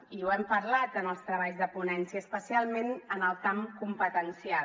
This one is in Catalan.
i ho hem parlat en els treballs de ponència especialment en el camp competencial